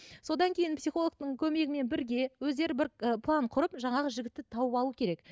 содан кейін психологтың көмегімен бірге өздері бір ы план құрып жаңағы жігітті тауып алу керек